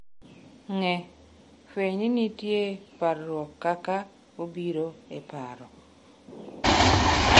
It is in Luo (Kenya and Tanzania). Ng’e: Fweny ni nitie parruok kaka obiro e paro.